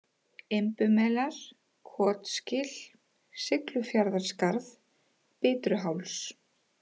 Imbumelar, Kotsgil, Siglufjarðarskarð, Bitruháls